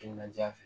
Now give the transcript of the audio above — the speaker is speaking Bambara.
Timinandiya fɛ